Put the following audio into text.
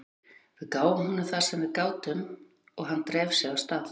Við gáfum honum það sem við gátum og hann dreif sig af stað.